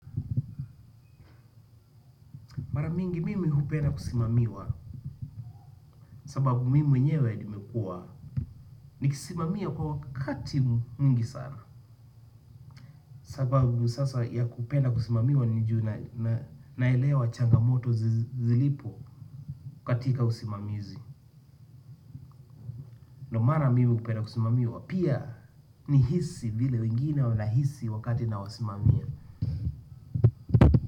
Mara mingi mimi hupenda kusimamiwa sababu mimi mwenyewe nimekuwa nikisimamia kwa wakati mwingi sana. Sababu sasa ya kupenda kusimamiwa ni juu naelewa changamoto zilipo katika usimamizi. Na mara mingi kupenda kusimamiwa pia ni hisi vile wengine wana hisi wakati na wasimamia.